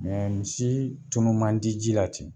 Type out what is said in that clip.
misi tunun man di ji la ten.